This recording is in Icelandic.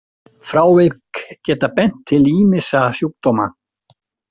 Frávik geta bent til ýmissa sjúkdóma.